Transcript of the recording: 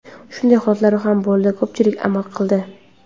Shunday holatlar ham bo‘ldi, ko‘pchilik amal qildi.